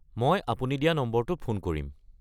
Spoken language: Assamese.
মই আপুনি দিয়া নম্বৰটোত ফোন কৰিম।